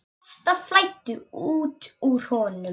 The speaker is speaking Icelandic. Þetta flæddi út úr honum.